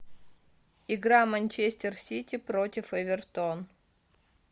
игра манчестер сити против эвертон